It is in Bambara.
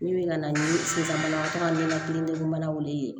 Min bɛ na ni sisan banabagatɔ ka nɔnɔ kelen mana wele